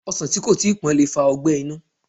Ọsàn tí kò tíi pọ́n lè fa ọgbẹ́ inú